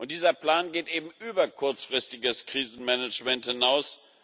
Dieser Plan geht eben über kurzfristiges Krisenmanagement hinaus.